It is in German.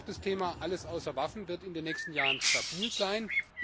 Auch das Thema Alles außer Waffen wird in den nächsten Jahren stabil sein.